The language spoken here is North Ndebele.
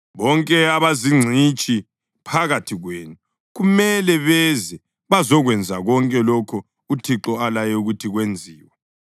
Bonke abazingcitshi phakathi kwenu kumele beze bazokwenza konke lokho uThixo alaye ukuthi kwenziwe: